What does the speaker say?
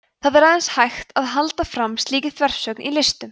það er aðeins hægt að halda fram slíkri þversögn í listum